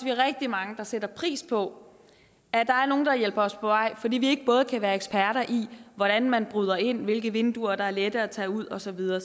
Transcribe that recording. er rigtig mange der sætter pris på at der er nogle der hjælper os på vej fordi vi ikke kan være eksperter i hvordan man bryder ind hvilke vinduer der er lette at tage ud og så videre